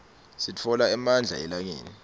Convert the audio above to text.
sitfola emandla elangeni